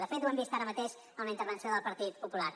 de fet ho hem vist ara mateix amb la intervenció del partit popular